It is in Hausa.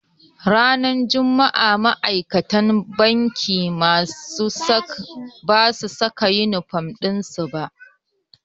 Ranar juma'a ma'aikatan bankin basu saka inifom ɗin su ba.